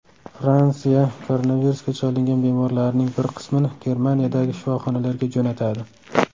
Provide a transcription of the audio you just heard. Fransiya koronavirusga chalingan bemorlarining bir qismini Germaniyadagi shifoxonalarga jo‘natadi.